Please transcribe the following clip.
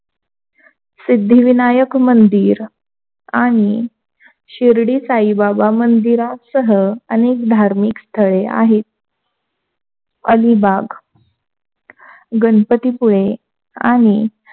सिद्धिविनायक मंदिर आणि शिर्डी साईबाबा मंदिरासह अनेक धार्मिक स्थळ आहेत. अलिबाग, गणपतीपुळे आणि,